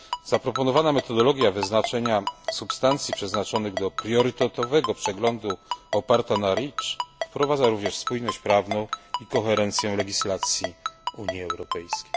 Zaproponowana metodologia wyznaczenia substancji przeznaczonych do priorytetowego przeglądu oparta na REACH wprowadza również spójność prawną i koherencję legislacji Unii Europejskiej.